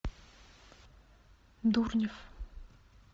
дурнев